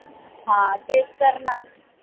हा तेच तर न